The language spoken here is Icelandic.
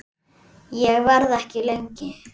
Ég verð ekki lengi